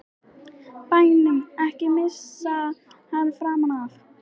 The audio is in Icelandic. BÆNUM, EKKI MISSA HANN FRAM AF!